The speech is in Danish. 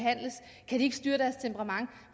styre deres temperament